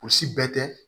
O si bɛɛ tɛ